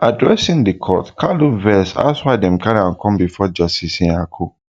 addressing di court kanu vex ask why dem carry am come bifor justice nyako